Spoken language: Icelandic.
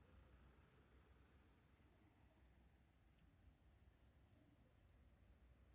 Þá verður samningum ekki þinglýst nema þeir séu skriflegir.